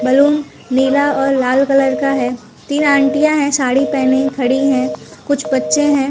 Balloon नीला और लाल कलर का हैं तीन आंटी या हैं साड़ी पहने खड़ी हैं कुछ बच्चे हैं।